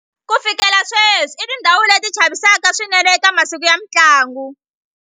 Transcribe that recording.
Ku fikela sweswi i tindhawu leti chavisaka swinene eka masiku ya mintlangu.